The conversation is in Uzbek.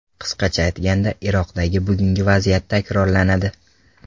Qisqacha aytganda, Iroqdagi bugungi vaziyat takrorlanadi.